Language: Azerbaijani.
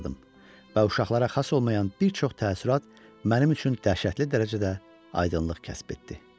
Və uşaqlara xas olmayan bir çox təəssürat mənim üçün dəhşətli dərəcədə aydınlıq kəsb etdi.